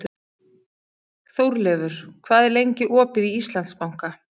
Þórleifur, hvað er lengi opið í Íslandsbanka?